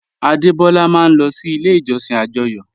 Adebọ́lá máa n lọ sí ilẹ̀ ìjọ̀ṣìn ajóyò